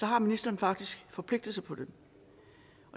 har ministeren faktisk forpligtet sig på det